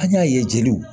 An y'a ye jeliw